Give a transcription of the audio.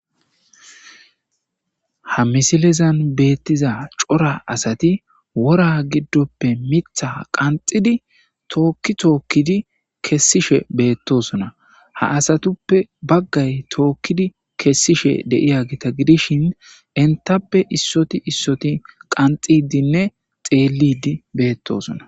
Ha misilezan beettiza cora asati wora giddoppe mitha qanxidi tookki tookkidi kessishe beettosuna ha asatuppe baggay tookkidi kessishe deiya gita gidishin intappe issoti issoti qanxidinne xeelidi beettosuna.